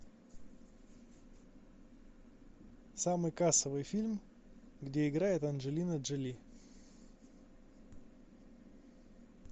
самый кассовый фильм где играет анджелина джоли